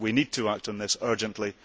We need to act on this urgently.